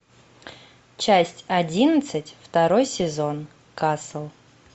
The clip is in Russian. часть одиннадцать второй сезон касл